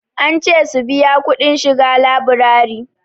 An ce su biya kudin shiga laburari.